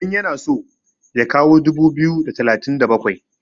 idan yana so ya kawo dubu biyu da talatin da bakwai?